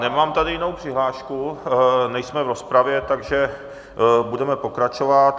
Nemám tady jinou přihlášku, nejsme v rozpravě, takže budeme pokračovat.